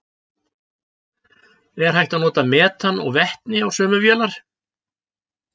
Er hægt að nota metan og vetni á sömu vélar?